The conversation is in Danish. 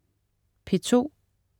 P2: